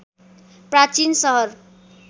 प्राचीन सहर